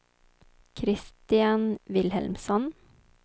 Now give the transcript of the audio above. Kristian Vilhelmsson